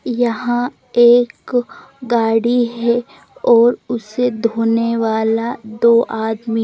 यहाँ एक गाडी है और उसे धोने वाला दो आदमी--